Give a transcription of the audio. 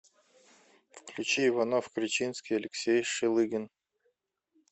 включи иванов кречинский алексей шелыгин